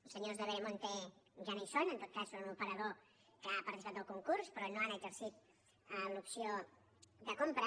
els senyors de veremonte ja no hi són en tot cas són un operador que ha participat del concurs però no han exercit l’opció de compra